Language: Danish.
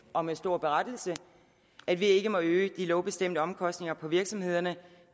og med stor berettigelse at vi ikke må øge de lovbestemte omkostninger for virksomhederne